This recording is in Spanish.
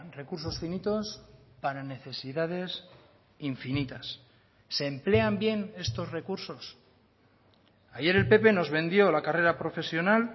recursos finitos para necesidades infinitas se emplean bien estos recursos ayer el pp nos vendió la carrera profesional